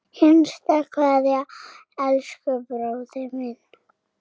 HINSTA KVEÐJA Elsku bróðir minn.